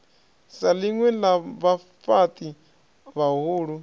sa ḽinwe ḽa vhafhaṱi vhahulu